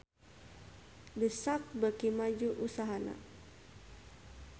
The Sak beuki maju usahana